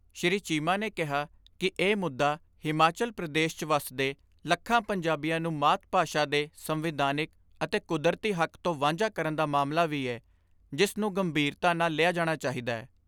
ਸ੍ਰੀ ਚੀਮਾ ਨੇ ਕਿਹਾ ਕਿ ਇਹ ਮੁੱਦਾ ਹਿਮਾਚਲ ਪ੍ਰਦੇਸ 'ਚ ਵੱਸਦੇ ਲੱਖਾਂ ਪੰਜਾਬੀਆਂ ਨੂੰ ਮਾਤ ਭਾਸ਼ਾ ਦੇ ਸੰਵਿਧਾਨਿਕ ਅਤੇ ਕੁਦਰਤੀ ਹੱਕ ਤੋਂ ਵਾਂਝਾ ਕਰਨ ਦਾ ਮਸਲਾ ਵੀ ਏ, ਜਿਸ ਨੂੰ ਗੰਭੀਰਤਾ ਨਾਲ ਲਿਆ ਜਾਣਾ ਚਾਹੀਦੈ।